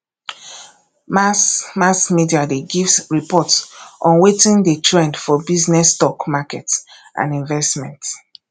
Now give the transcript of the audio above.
mass mass media de give report on wetin de trend for business stock market and investments